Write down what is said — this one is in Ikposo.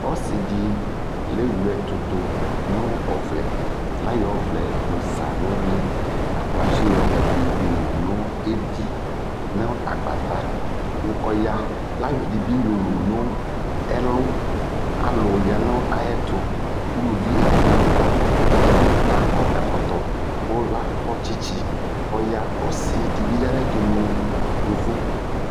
ɔsiidi lɛ wlɛ ɛtʋdʋ nʋ ɔvlɛ layɔ ɔvlɛ yɔza nʋ ʋli kʋ atsi yɔ ɛdi yɔwʋ nʋ ɛvi nʋ agbata kʋ ɔya kʋ ayɔ ɛdibi yɔwʋ nʋ ɛlʋ, alʋ yanʋ ayɛtʋ, ʋlʋvi ɛdigbɔ la dʋ la kɔ ɛkɔtɔ kʋ lakɔ kyikyi kʋ ɔya, ɔsii dibi yanʋ ayɛtʋ mʋ yɔvɔ